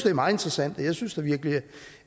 er meget interessant jeg synes da virkelig